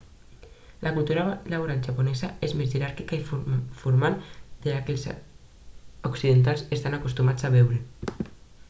la cultura laboral japonesa és més jeràrquica i formal del que els occidentals estan acostumats a veure